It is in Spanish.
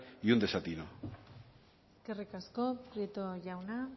y un desatino eskerrik asko prieto jauna